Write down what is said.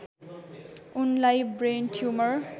उनलाई brain tumour